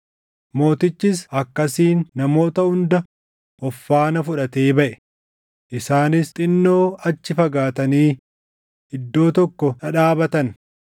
Mootichis akkasiin namoota hunda of faana fudhatee baʼe; isaanis xinnoo achi fagaatanii iddoo tokko dhadhaabatan.